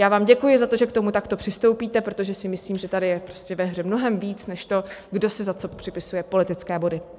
Já vám děkuji za to, že k tomu takto přistoupíte, protože si myslím, že tady je ve hře mnohem víc než to, kdo si za co připisuje politické body.